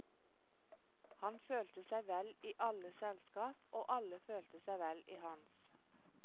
Han følte seg vel i alles selskap, og alle følte seg vel i hans.